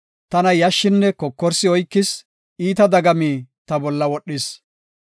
Tana yashshinne kokorsi oykis; iita dagami ta bolla wodhis.